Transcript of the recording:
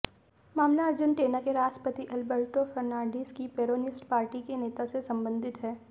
मामला अर्जेंटीना के राष्ट्रपति अल्बर्टो फर्नांडीज की पेरोनिस्ट पार्टी के नेता से संबंधित है